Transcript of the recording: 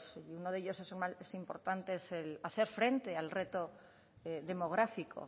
uno de ellos el más importante es hacer frente al reto demográfico